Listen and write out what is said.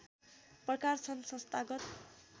प्रकार छन् संस्थागत